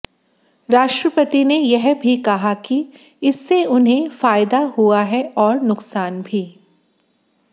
राष्ट्रपति ने यह भी कहा कि इससे उन्हें फायदा हुआ है और नुकसान भी